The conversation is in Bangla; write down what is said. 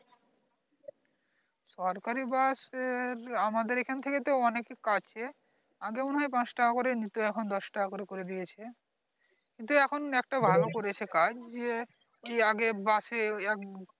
সরকারী bus এর আমাদের এখান থেকে তো অনেকে কাছে আগে মনে হয় পাচ টাকা করে নিত এখন দশ টাকা করে করে দিয়েছে কিন্তু এখন একটা ভালো করেছে কাজ যে আগে bus এ এক